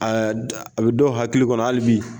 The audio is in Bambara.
Ɛɛ a bɛ dɔw hakili kɔnɔ hali bi